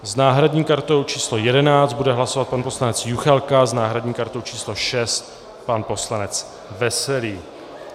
S náhradní kartou číslo 11 bude hlasovat pan poslanec Juchelka, s náhradní kartou číslo 6 pan poslanec Veselý.